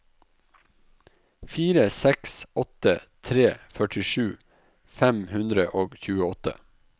fire seks åtte tre førtisju fem hundre og tjueåtte